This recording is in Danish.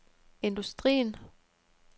industrien